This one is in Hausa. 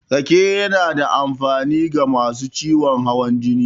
Rake yana da amfani ga masu ciwon hawan jini.